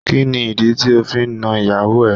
Kí ni ìdí tí ó fi nàn ìyàwó ẹ?